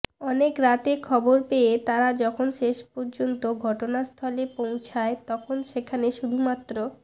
অনেক রাতে খবর পেয়ে তারা যখন শেষ পর্যন্ত ঘটনাস্থলে পৌঁছায় তখন সেখানে শুধুমাত্র